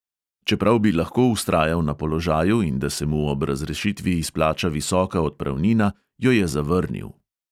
Čeprav bi lahko vztrajal na položaju in da se mu ob razrešitvi izplača visoka odpravnina, jo je zavrnil.